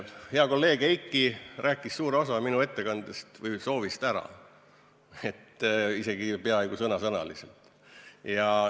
Hea kolleeg Heiki rääkis suure osa minu ettekandest või soovist ära, isegi peaaegu sõna-sõnalt.